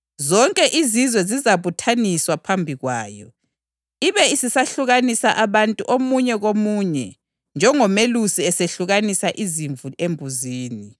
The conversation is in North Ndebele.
“Nxa iNdodana yoMuntu isisiza ngenkazimulo yayo, ikanye lezingilosi zonke, izahlala esihlalweni sayo sobukhosi ilenkazimulo yasezulwini.